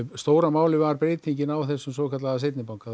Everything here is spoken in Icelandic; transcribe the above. stóra málið var breytingin á svokölluðum seinni banka